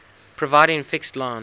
providing fixed line